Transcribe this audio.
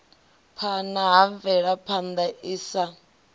phana ha mvelaphana i sa